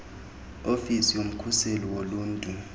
ofisi yomkhuseli woluntu